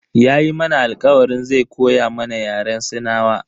Yayi mana alkawarin zai koya mana Yaren sinawa.